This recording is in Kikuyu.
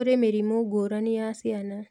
Kũrĩ mĩrimũ ngũrani ya ciana